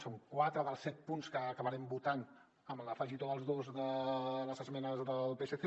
són quatre dels set punts que acabarem votant amb l’afegitó dels dos de les esmenes del psc